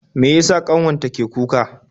Mai yasa kanwar ta ke kuka?